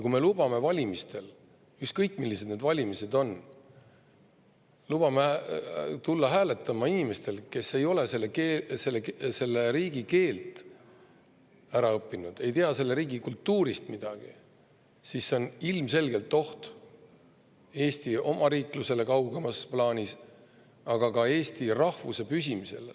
Kui me lubame valimistel – ükskõik, millised valimised need on – tulla hääletama inimestel, kes ei ole selle riigi keelt ära õppinud ega tea selle riigi kultuurist midagi, siis see on kaugemas plaanis ilmselgelt oht Eesti omariiklusele, aga ka eesti rahvuse püsimisele.